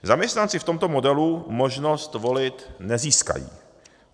Zaměstnanci v tomto modelu možnost volit nezískají.